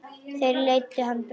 Þeir leiddu hann burt.